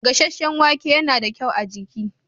Gasasshen wake yana da kyau ga jiki.